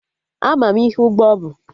Ama m ihe ụgbọ bụ